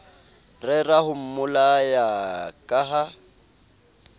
rera ho mmolaya ka ha